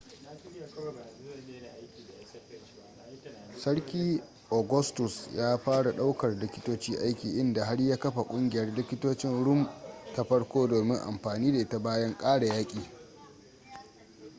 sarki augustus ya fara daukar likitoci aiki inda har ya kafa ƙungiyar likitocin rum ta farko domin anfani da ita bayan ƙare yaki